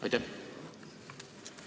Aitäh!